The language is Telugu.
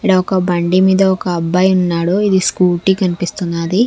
ఈడ ఒక బండి మీద ఒక అబ్బాయి ఉన్నాడు ఇది స్కూటీ కనిపిస్తున్నది.